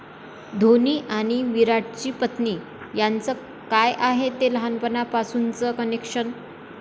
धोनी आणि विराटची पत्नी यांचं काय आहे हे लहानपणापासूनचं कनेक्शन?